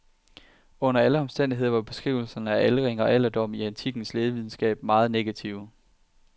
Under alle omstændigheder var beskrivelserne af aldring og alderdom i antikkens lægevidenskab meget negative.